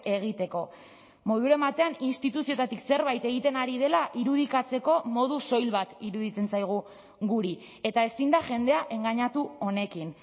egiteko moduren batean instituzioetatik zerbait egiten ari dela irudikatzeko modu soil bat iruditzen zaigu guri eta ezin da jendea engainatu honekin